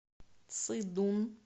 цидун